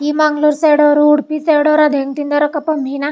ಈ ಮಂಗಳೂರ್ ಸೈಡ್ ಅವ್ರು ಉಡಪಿ ಸೈಡ್ ಅವ್ರು ಹೆಂಗ್ ತಿನ್ನದರ್ ಅಕ್ಕಪ್ಪಾ ಮೀನಾ.